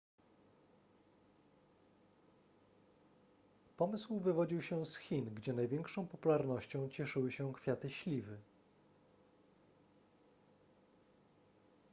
pomysł wywodził się z chin gdzie największą popularnością cieszyły się kwiaty śliwy